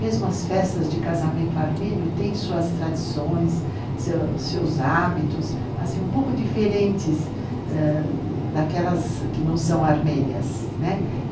Mesmo as festas de casamento armênio têm suas tradições, seus seus hábitos, assim um pouco diferentes daquelas que não são armênias, né?